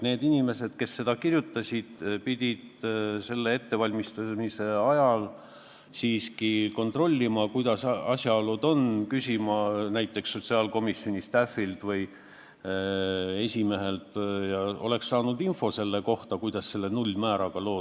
Need inimesed, kes selle eelnõu kirjutasid, pidanuks selle koostamise ajal siiski kontrollima, kuidas asjalood on, küsima näiteks sotsiaalkomisjoni staff'ilt või esimehelt infot selle kohta, kuidas selle nullmääraga on.